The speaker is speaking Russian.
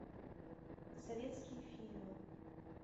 советские фильмы